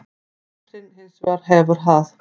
Katrín hins vegar hefur það.